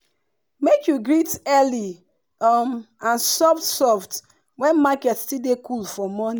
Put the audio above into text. make you greet early um and soft soft when market still dey coole for morning.